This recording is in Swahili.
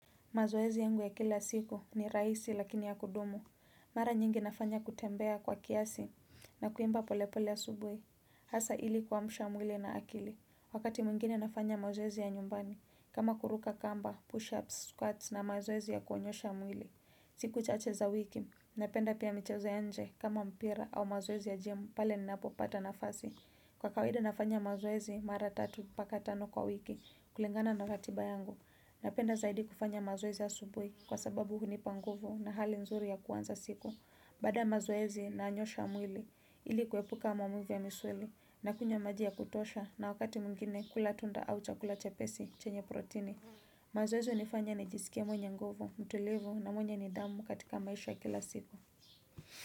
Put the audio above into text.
Mazoezi yangu ya kila siku ni rahisi lakini ya kudumu. Mara nyingi nafanya kutembea kwa kiasi na kuimba pole pole asubuhi. Hasa ili kuamsha mwili na akili. Wakati mwingine nafanya mazoezi ya nyumbani. Kama kuruka kamba, push-ups, squats na mazoezi ya kuonyosha mwili. Siku chache za wiki. Napenda pia michezo ya nje kama mpira au mazoezi ya gym pale ninapo pata nafasi. Kwa kawaidi nafanya mazoezi mara tatu mpaka tano kwa wiki kulingana na ratiba yangu. Napenda zaidi kufanya mazoezi asubuhi kwa sababu hunipa nguvu na hali nzuri ya kuanza siku. Baada ya mazoezi nanyoosha mwili ili kuepuka maumivu ya misuli nakunywa maji ya kutosha na wakati mwingine kula tunda au chakula chepesi chenye protini. Mazoezi hunifanya nijisikie mwenye nguvu, mtulivu na mwenye nidhamu katika maisha ya kila siku.